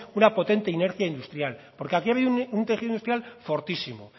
una potente inercia industrial porque aquí ha habido un tejido industrial fortísimo